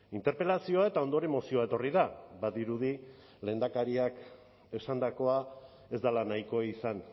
interpelazioa eta ondoren mozioa etorri da badirudi lehendakariak esandakoa ez dela nahikoa izan